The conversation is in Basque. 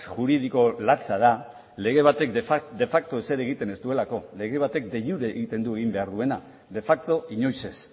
juridiko latza da lege batek de facto ezer egiten ez duelako lege batek de iure egiten du egin behar duena de facto inoiz ez